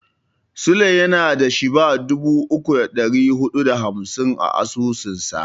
Sule yana da Shiba dubu uku da ɗari huɗu da hamsin a asusunsa.